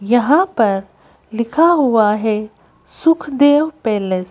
यहां पर लिखा हुआ है सुखदेव पैलेस --